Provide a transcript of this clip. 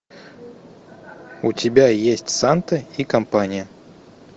у тебя есть санта и компания